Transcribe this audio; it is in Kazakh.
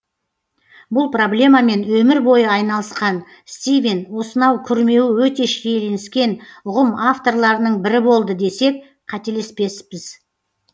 бұл проблемамен өмір бойы айналысқан стивен осынау күрмеуі өте шиеленіскен ұғым авторларының бірі болды десек қателеспеспіз